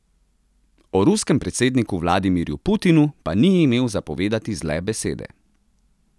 O ruskem predsedniku Vladimirju Putinu pa ni imel za povedati zle besede.